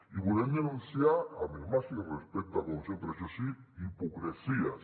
i volem denunciar amb el màxim respecte com sempre això sí hipocresies